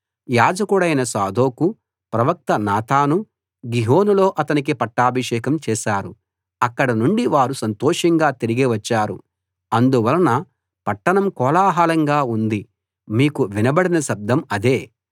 యాజకుడైన సాదోకూ ప్రవక్త నాతానూ గిహోనులో అతనికి పట్టాభిషేకం చేశారు అక్కడి నుండి వారు సంతోషంగా తిరిగి వచ్చారు అందువలన పట్టణం కోలాహలంగా ఉంది మీకు వినబడిన శబ్దం అదే